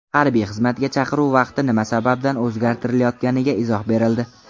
Harbiy xizmatga chaqiruv vaqti nima sababdan o‘zgartirilayotganiga izoh berildi.